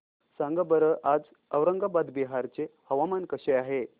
सांगा बरं आज औरंगाबाद बिहार चे हवामान कसे आहे